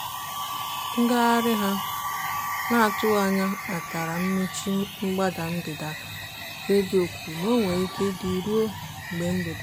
ngagharị ha n'atụghị anya kpatara mmechi mgbada ndịda; redio kwuru na ọ nwere ike ịdị ruo ebe mgbede.